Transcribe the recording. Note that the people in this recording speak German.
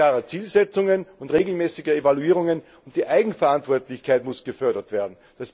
Es bedarf klarer Zielsetzungen und regelmäßiger Evaluierungen, und die Eigenverantwortlichkeit muss gefördert werden.